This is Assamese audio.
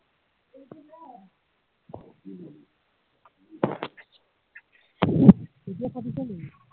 উম এতিয়া ফাটিছে নিকি